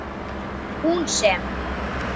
Hún sem.